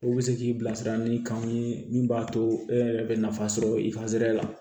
U bɛ se k'i bilasira ni kanw ye min b'a to e yɛrɛ bɛ nafa sɔrɔ i ka sira la